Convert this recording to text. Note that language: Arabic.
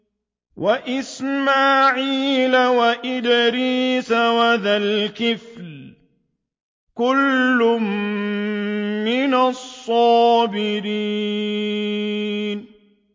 وَإِسْمَاعِيلَ وَإِدْرِيسَ وَذَا الْكِفْلِ ۖ كُلٌّ مِّنَ الصَّابِرِينَ